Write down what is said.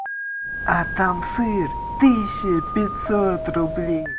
а там сыр тысяча пятьсот рублей